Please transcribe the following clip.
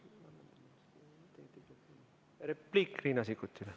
Repliik Riina Sikkutilt.